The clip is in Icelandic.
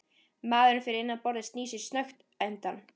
Maðurinn fyrir innan borðið snýr sér snöggt undan.